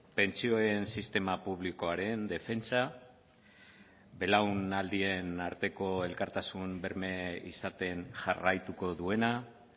pentsioen sistema publikoaren defentsa belaunaldien arteko elkartasun berme izaten jarraituko duena